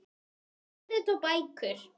Tímarit og bækur.